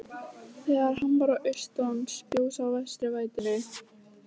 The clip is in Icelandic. Þegar hann var á austan spjó sá vestari vætunni.